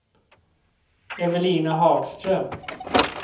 Evelina Hagström